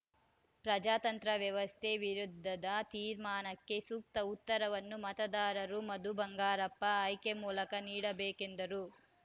ಪ್ರಜಾತಂತ್ರ ವ್ಯವಸ್ಥೆ ವಿರುದ್ಧದ ತೀರ್ಮಾನಕ್ಕೆ ಸೂಕ್ತ ಉತ್ತರವನ್ನು ಮತದಾರರು ಮಧು ಬಂಗಾರಪ್ಪ ಆಯ್ಕೆ ಮೂಲಕ ನೀಡಬೇಕೆಂದರು